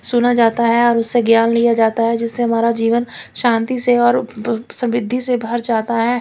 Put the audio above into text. सुना जाता है और उसे ज्ञान लिया जाता है जिसे हमारा जीवन शान्ति से और ब समृद्धि से भर जाता है।